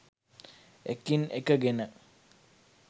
එකින් එක ගෙන